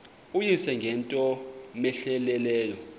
uyise ngento cmehleleyo